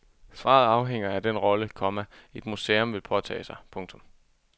Svaret afhænger af den rolle, komma et museum vil påtage sig. punktum